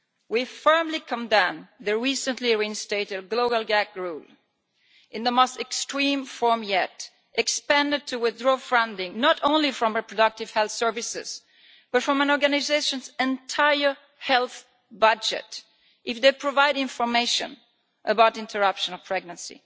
We firmly condemn the recently reinstated global gag rule in its most extreme form yet, expanded to withdraw funding not only from reproductive health services but from an organisation's entire health budget if they provide information about interruption of pregnancy.